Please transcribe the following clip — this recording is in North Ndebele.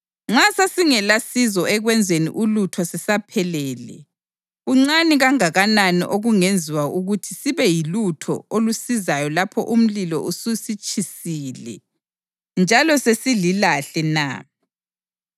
Nxa sasingelasizo ekwenzeni ulutho sisaphelele, kuncane kangakanani okungenziwa ukuthi sibe yilutho olusizayo lapho umlilo ususitshisile njalo sesililahle na?